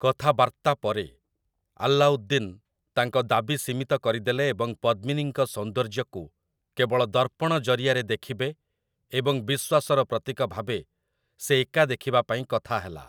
କଥାବାର୍ତ୍ତା ପରେ, ଆଲ୍ଲାଉଦ୍ଦିନ୍ ତାଙ୍କ ଦାବି ସୀମିତ କରିଦେଲେ ଏବଂ ପଦ୍ମିନୀଙ୍କ ସୌନ୍ଦର୍ଯ୍ୟକୁ କେବଳ ଦର୍ପଣ ଜରିଆରେ ଦେଖିବେ ଏବଂ ବିଶ୍ୱାସର ପ୍ରତୀକ ଭାବେ ସେ ଏକା ଦେଖିବା ପାଇଁ କଥାହେଲା ।